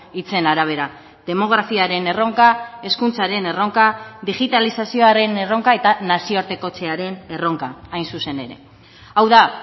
hitzen arabera demografiaren erronka hezkuntzaren erronka digitalizazioaren erronka eta nazioartekotzearen erronka hain zuzen ere hau da